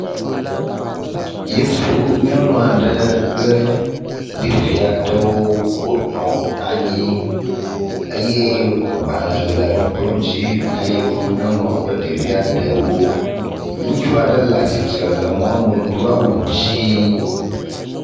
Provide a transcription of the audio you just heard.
Yevu nyɔnua ɖe kple ɖevi aɖewo wonɔ anyi eye gbale le kplɔ dzi ne yevu nyɔnua kple ɖevia ɖewo. Ŋutsu aɖe le atsitre le mɔnu do awu dzi.